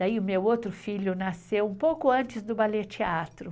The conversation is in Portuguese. Daí, o meu outro filho nasceu um pouco antes do Ballet Teatro.